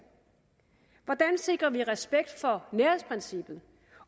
sikrer respekt for nærhedsprincippet